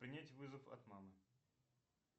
принять вызов от мамы